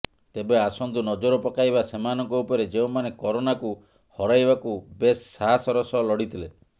ତେବେ ଆସନ୍ତୁ ନଜର ପକାଇବା ସେମାନଙ୍କ ଉପରେ ଯେଉଁମାନେ କରୋନାକୁ ହରାଇବାକୁ ବେଶ ସାହାସର ସହ ଲଢିଥିଲେ